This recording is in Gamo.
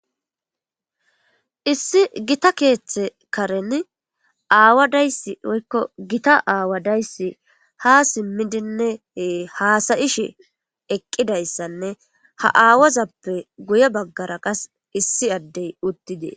Issi gita keeththe karen aawadayssi oykko gita aawadayssi ha simmidinne haasayishe eqqidayssanne ha aawazappe guye baggara qas issi addey uttidee.